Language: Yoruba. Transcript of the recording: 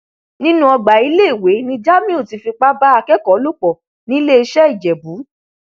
nínú ọgbà iléèwé ni jamiu ti fipá bá akẹkọọ lò pọ niléeṣẹìjẹbù